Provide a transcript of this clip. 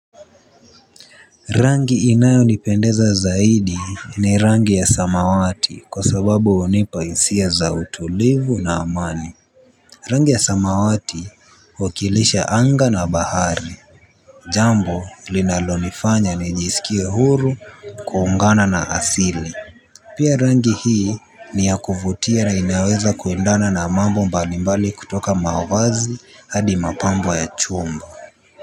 Rangi inayo nipendeza zaidi ni rangi ya samawati kwa sababu hunipa hisia za utulivu na amani. Rangi ya samawati huwakilisha anga na bahari. Jambo linalonifanya nijisikie huru kuungana na asili. Pia rangi hii ni ya kuvutia na inaweza kuendana na mambo mbali mbali kutoka mavazi hadi mapambo ya chumba.